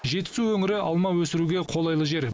жетісу өңірі алма өсіруге қолайлы жер